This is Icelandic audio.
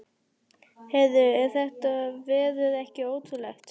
Heyrðu, er þetta veður ekki ótrúlegt?